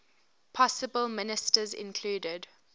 possible ministers included